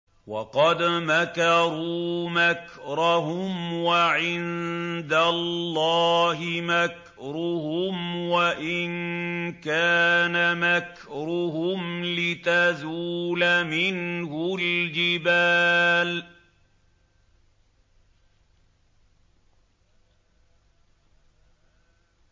وَقَدْ مَكَرُوا مَكْرَهُمْ وَعِندَ اللَّهِ مَكْرُهُمْ وَإِن كَانَ مَكْرُهُمْ لِتَزُولَ مِنْهُ الْجِبَالُ